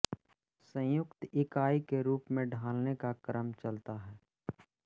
संयुक्त इकाई के रूप में ढालने का क्रम चलता है